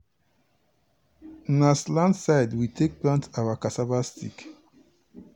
na slant side we take plant our cassava stick.